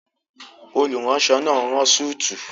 Olùránsọ náà n rán súùtù